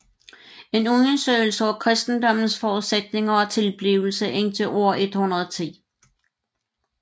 En undersøgelse af kristendommens forudsætninger og tilblivelse indtil år 110